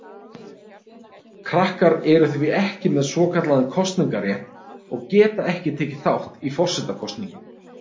Krakkar eru því ekki með svokallaðan kosningarétt og geta ekki tekið þátt í forsetakosningum.